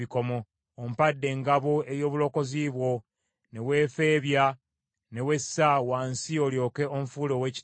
Ompadde engabo ey’obulokozi bwo, ne weefeebya ne wessa wansi olyoke onfuule ow’ekitiibwa.